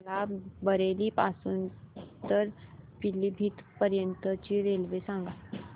मला बरेली पासून तर पीलीभीत पर्यंत ची रेल्वे सांगा